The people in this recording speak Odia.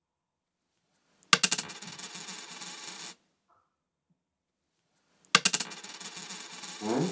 ହାଁ?